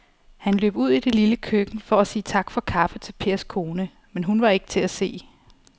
Han løb ud i det lille køkken for at sige tak for kaffe til Pers kone, men hun var ikke til at se.